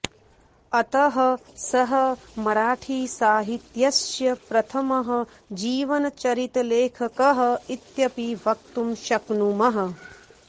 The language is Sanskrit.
अतः सः मराठीसाहित्यस्य प्रथमः जीवनचरितलेखकः इत्यपि वक्तुं शक्नुमः